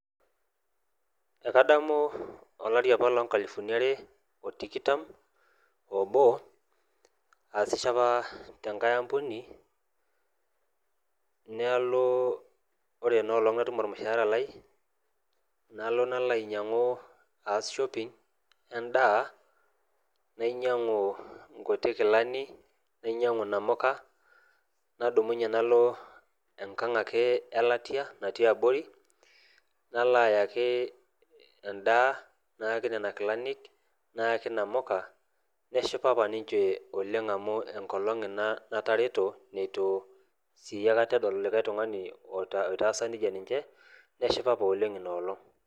Ekadamu olari apa lonkalifuni are otikitam obo aasisho apa tenkae ampuni nalo ore enolong' natum ormushaara lai nalo nalo ainyiang'u aas shopping endaa nainyiang'u inkuti kilani nainyiang'u inamuka nadumunye nalo enkang' ake elatia natii abori nalo ayaki endaa nayaki nana kilanik nayaki inamuka neshipa apa ninche oleng' amu enkolong' ina natareto netu sii aekata edol likae tung'ani oitaasa nejia ninche neshipa apa oleng' ina olong'.